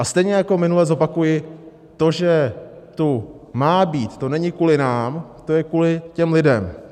A stejně jako minule zopakuji: To, že tu má být, to není kvůli nám, to je kvůli těm lidem.